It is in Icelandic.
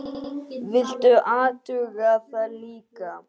Viltu athuga það líka!